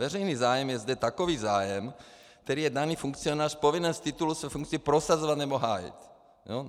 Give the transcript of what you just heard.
Veřejný zájem je zde takový zájem, který je daný funkcionář povinen z titulu svých funkcí prosazovat nebo hájit.